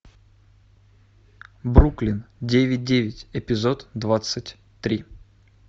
бруклин девять девять эпизод двадцать три